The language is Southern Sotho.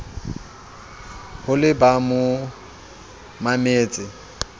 ho le ba mo mametseng